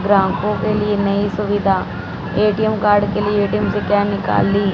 ग्राहकों के लिए नई सुविधा ए_टी_म कार्ड के लिए ए_टी_म से क्या निकल ली--